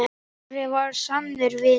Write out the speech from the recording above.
Snorri var sannur vinur.